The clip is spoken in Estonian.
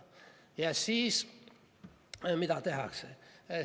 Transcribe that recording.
Ja siis, mida tehakse?